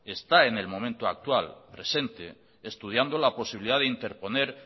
está en el momento actual presente estudiando la posibilidad de interponer